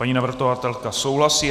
Paní navrhovatelka souhlasí.